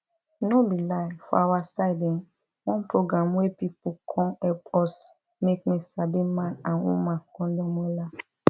no be lie for awa side um one program wey pipu come epp us make me sabi man and woman condom wella